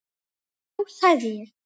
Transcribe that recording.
Já sagði ég.